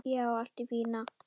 Já, allt í fína.